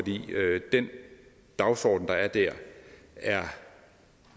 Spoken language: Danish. den dagsorden der er der er